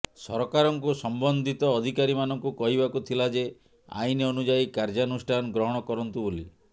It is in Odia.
ସରକାରଙ୍କୁ ସମ୍ବନ୍ଧିତ ଅଧିକାରୀମାନଙ୍କୁ କହିବାକୁ ଥିଲା ଯେ ଆଇନ ଅନୁଯାୟୀ କାର୍ଯ୍ୟାନୁଷ୍ଠାନ ଗ୍ରହଣ କରନ୍ତୁ ବୋଲି